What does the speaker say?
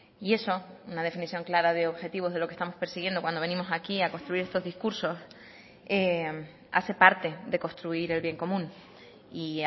y eso una definición clara de objetivos de lo que estamos persiguiendo cuando venimos aquí a construir estos discursos hace parte de construir el bien común y